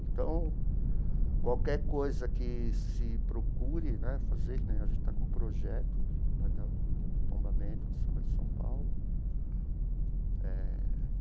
Então, qualquer coisa que se procure né fazer, que nem a gente está com um projeto do tombamento de Samba de São Paulo eh.